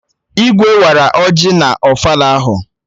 Igwe wara ọjị na ofala ahụ